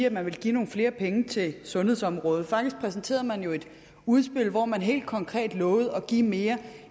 at man ville give nogle flere penge til sundhedsområdet faktisk præsenterede man jo et udspil hvor man helt konkret lovede at give mere